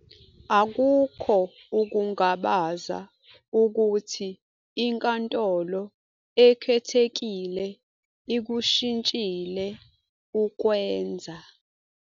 Akukho ukungabaza ukuthi iNkantolo Ekhethekile ikushintshile ukwenza.